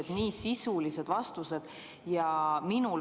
Ja nii sisulised vastused!